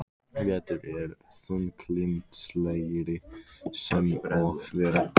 Vetur er þunglyndislegri sem og vera ber.